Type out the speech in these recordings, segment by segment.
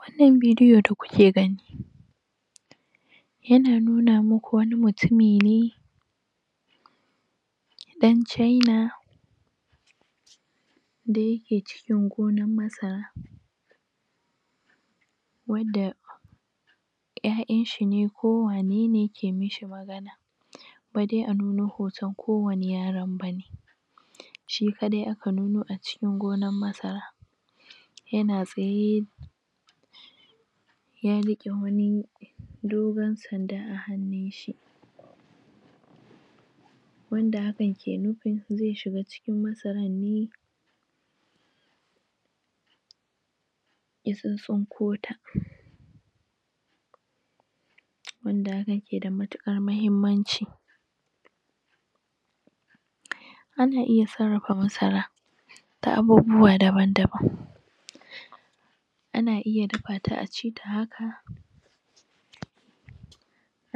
wannan bidiyo da kuke gani yana nuna muku wani mutumi ne dan chaina da yake cikin gonan masara wanda Ƴaƴanshi ne ko wane ne ke mishi magana ba dai a nuno hoton kowani yaron bane shi kadai aka nuno a cikin gonan masara yana tsaye ya riqe wani dogon sanda a hannunshi wanda hakan ke nufin zai shiga cikin masarar ne ya tsintsin kota wanda haka ke da matukar muhimmanci ana iya sarrafa masara da abubuwa daban daban ana iya dafata acita haka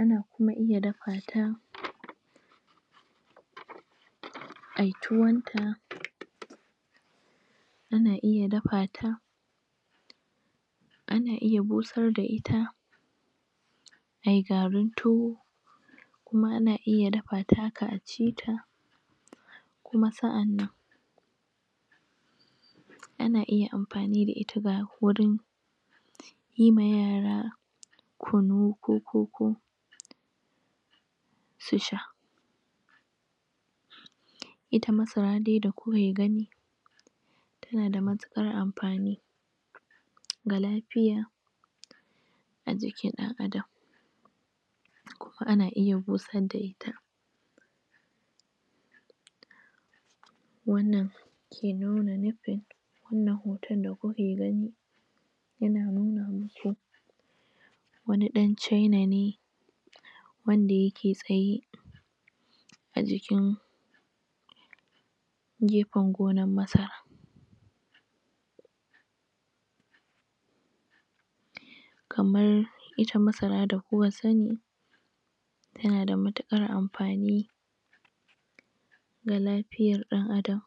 ana kuma iya dafata ayi tuwon ta ana iya dafata ana iya busar da ita ayi garin tuwo kuma ana iya dafata haka acita kuma sa'annan ana iya amfani da ita wurin yi ma yara kunu ko kunu ko koko kuma susha su sha ita masara dai da kuke gani tana da matukar amfani ga lafiya ajikin dan adam kuma ana iya busar da ita wannan ke nuna nufin wannnan hoton da kuke gani yana nuna muku wani dan chaina ne wanda yake tsaye ajikin gefen gonar masara kamar ita masara da kuka sani tana da matukar amfani da lafiyar dan adam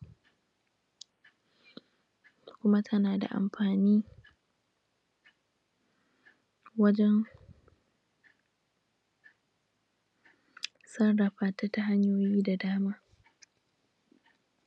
kuma tana da amfani wajen sarrafata ta hanyoyi da dama